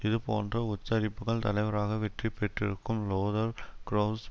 இதுபோன்ற உச்சரிப்புகள் தலைவராக வெற்றி பெற்றிருக்கும் லோதர் கிரெளவுஸ்